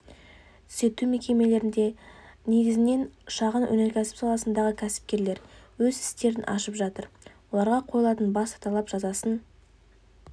түзету мекемелерінде негізінен шағын өнеркәсіп саласындағы кәсіпкерлер өз істерін ашып жатыр оларға қойылатын басты талап жазасын